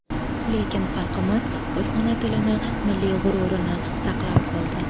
Lekin xalqimiz o‘z ona tilini milliy g‘ururini saqlab qoldi.